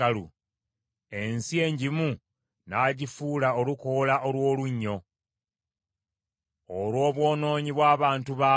ensi engimu n’agifuula olukoola olw’olunnyo olw’obwonoonyi bw’abantu baamu.